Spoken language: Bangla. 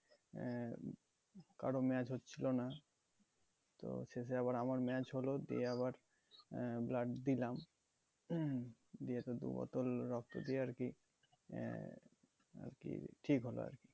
আহ কারো match হচ্ছিল না তো শেষে আবার আমার match হল দিয়ে আবার আহ blood দিলাম দিয়ে তো দু বোতল রক্ত দিয়েআর কি আহ আরকি ঠিক হলো আর কি